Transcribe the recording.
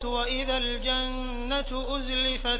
وَإِذَا الْجَنَّةُ أُزْلِفَتْ